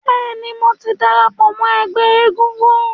Bẹ́ẹ̀ ni, mò ti darapọ̀ mọ́ ẹgbẹ́ egúngún.